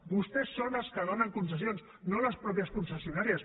vostès són els que donen concessions no les mateixes concessionàries